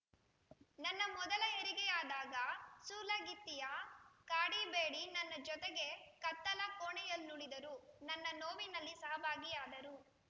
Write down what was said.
ನನ್ನ ಮೊದಲ ಹೆರಿಗೆಯಾದಾಗ ಸೂಲಗಿತ್ತಿಯ ಕಾಡಿ ಬೇಡಿ ನನ್ನ ಜೊತೆಗೇ ಕತ್ತಲ ಕೋಣೆಯಲ್ಲುಳಿದರು ನನ್ನ ನೋವಿನಲ್ಲಿ ಸಹಭಾಗಿಯಾದರು